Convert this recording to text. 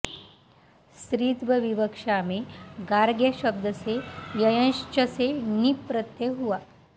स्त्रीत्व विवक्षा में गार्ग्य शब्द से यञश्च से ङीप् प्रत्यय हुआ